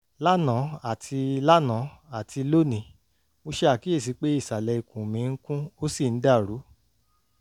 lánàá àti lánàá àti lónìí mo ṣe àkíyèsí pé ìsàlẹ̀ ikùn mi ń kùn ó sì ń dàrú